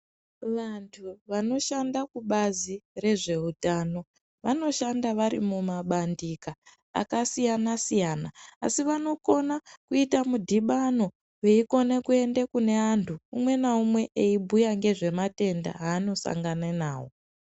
Vantu vanoshanda kubazi rezveutano vanoshanda vari mumabandika akasiyana siyana asi vanokona kuita mudhibano veikone kuenda kune vantu umwe naumwe eibhuya ngezvematenda anosangana nawo.